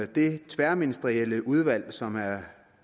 det tværministerielle udvalg som er